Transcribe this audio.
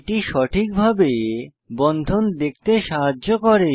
এটি সঠিকভাবে বন্ধন দেখতে সাহায্য করে